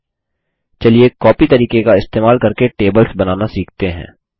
ठीक है कॉपी तरीके का इस्तेमाल करके टेबल्स बनाना सीखते हैं